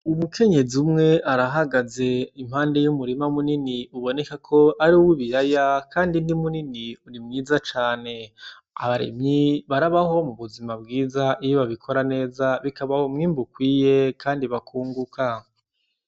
Umukenyezi umwe arahagaze impande y' umurima munini uboneka ko ari uw'ibiraya kandi ni munini urimwiza cane abarimyi barabaho mubuzima bwiza iyo babikora neza bikabaha umwimbu ukwiye kandi bakunguka.